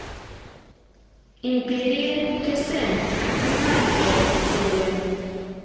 империя кесем пятнадцатая серия